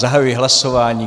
Zahajuji hlasování.